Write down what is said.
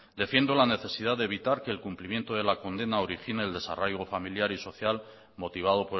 defiendo la necesidad de evitar que el cumplimiento de la condena origine el desarraigo familiar y social motivado